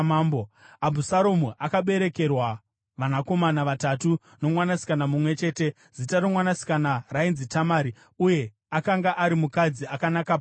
Abhusaromu akaberekerwa vanakomana vatatu nomwanasikana mumwe chete. Zita romwanasikana rainzi Tamari, uye akanga ari mukadzi akanaka pachiso.